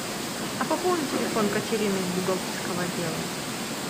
а пополни телефон катерины из бухгалтерского отдела